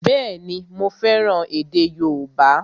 Bẹ́ẹ̀ni, mo fẹ́ràn èdè yóòbá